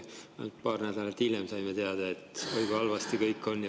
Ainult paar nädalat hiljem saime teada, et oi kui halvasti kõik on.